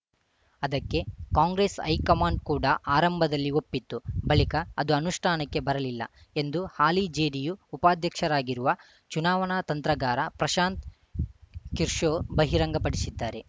ಅದಕ್ಕೆ ಕಾಂಗ್ರೆಸ್‌ ಹೈಕಮಾಂಡ್‌ ಕೂಡ ಆರಂಭದಲ್ಲಿ ಒಪ್ಪಿತ್ತು ಬಳಿಕ ಅದು ಅನುಷ್ಠಾನಕ್ಕೆ ಬರಲಿಲ್ಲ ಎಂದು ಹಾಲಿ ಜೆಡಿಯು ಉಪಾಧ್ಯಕ್ಷರಾಗಿರುವ ಚುನಾವಣಾ ತಂತ್ರಗಾರ ಪ್ರಶಾಂತ್‌ ಕಿಶೋ ಬಹಿರಂಗಪಡಿಸಿದ್ದಾರೆ